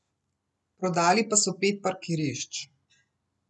Prodali pa so pet parkirišč.